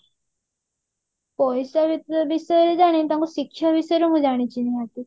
ପଇସା ବିଷୟରେ ଜାଣିନୀ ତାଙ୍କ ଶିକ୍ଷା ବିଷୟରେ ମୁଁ ଜାଣିଛି ନିହାତି